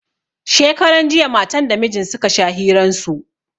Shekaran jiya matan da mijin suka sha hiran su